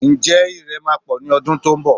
Ǹjẹ́ Ìrẹ̀ máa pọ̀ ní ọdún tó ń bọ̀?